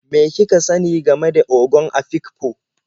Me kika sani game da Ogon Afikpo?